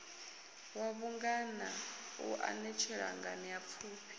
wa vhungana u anetshela nganeapfufhi